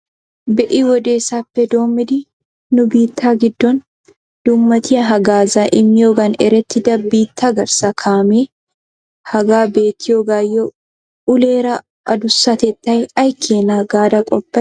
Bei wodesappe doommidi nu biitta giddon dummatiya haggaazza immiyoogan erettida biitta garssa kaamee hagaa beettiyagayyo .uleera adduszatettay ay keena gaada qopay?